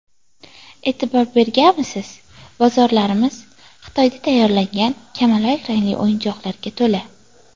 E’tibor berganmisiz, bozorlarimiz Xitoyda tayyorlangan kamalak rangli o‘yinchoqlarga to‘la.